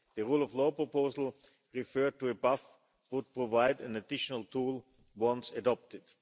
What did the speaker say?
The rule-of-law proposal referred to above would provide an additional tool once adopted.